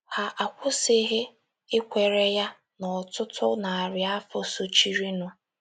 Ha akwụsịghị ikwere ya n’ọtụtụ narị afọ sochirinụ.